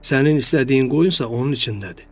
Sənin istədiyin qoyunsa onun içindədir.